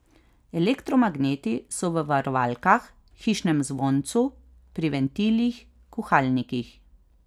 Elektromagneti so v varovalkah, hišnem zvoncu, pri ventilih, kuhalnikih ...